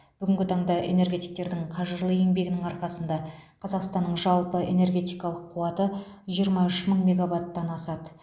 бүгінгі таңда энергетиктердің қажырлы еңбегінің арқасында қазақстанның жалпы энергетикалық қуаты жиырма үш мың мегаваттан асады